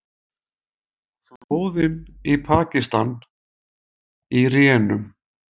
Flóðin í Pakistan í rénun